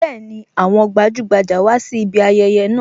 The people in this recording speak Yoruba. Bẹẹni, àwọn gbajugbaja wá sí ibi ayẹyẹ náà